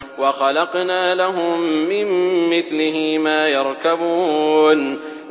وَخَلَقْنَا لَهُم مِّن مِّثْلِهِ مَا يَرْكَبُونَ